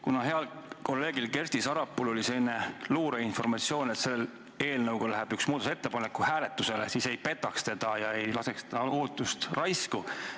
Kuna heal kolleegil Kersti Sarapuul oli selline luureinformatsioon, et selle eelnõuga läheb üks muudatusettepanek hääletusele, siis ei petaks teda ega laseks ta ootust raisku.